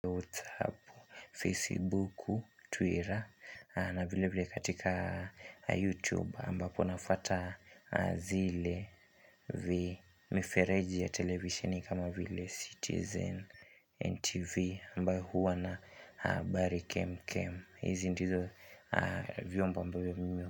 WhatsApp, Facebook, Twitter, na vile vile katika YouTube ambapo nafata zile vile mifereji ya televisioni kama vile Citizen NTV ambayo huwa na habari kem kem. Hizi ndizo vyombo ambavyo.